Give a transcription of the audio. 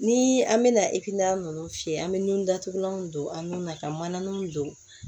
Ni an mɛna ekinɛna nunnu fiyɛ an be nun datugulanw don an nun na ka mananinw don